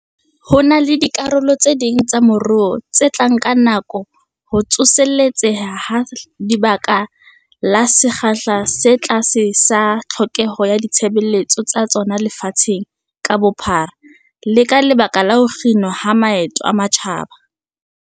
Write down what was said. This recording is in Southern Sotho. Ho na le dikarolo tse ding tsa moruo tse tla nka nako ho tsoseletseha ka lebaka la sekgahla se tlase sa tlhokeho ya ditshebeletso tsa tsona lefatsheng ka bophara, le ka lebaka la ho kginwa ha maeto a matjhaba.